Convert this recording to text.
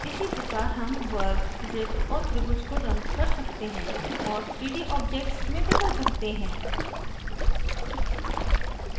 इसी प्रकार हम वर्ग वृत्त और त्रिभुज को रंग कर सकते हैं और 3d objects में बदल सकते हैं